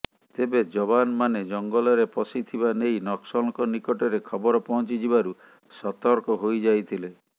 ତେବେ ଯବାନମାନେ ଜଙ୍ଗଲରେ ପଶିଥିବା ନେଇ ନକ୍ସଲଙ୍କ ନିକଟରେ ଖବର ପହଞ୍ଚି ଯିବାରୁ ସତର୍କ ହୋଇଯାଇଥିଲେ